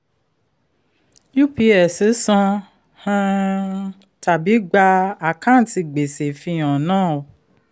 ups san um tàbí gba àkántì gbèsè fihan náà.